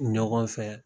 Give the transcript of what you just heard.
Ɲɔgɔn fɛ